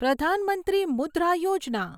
Pradhan Mantri Mudra Yojana